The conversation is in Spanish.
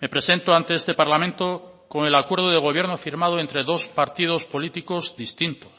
me presento ante este parlamento con el acuerdo de gobierno firmado entre dos partidos políticos distintos